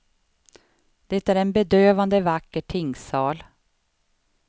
Det är en bedövande vacker tingssal.